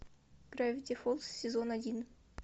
гравити фолз сезон один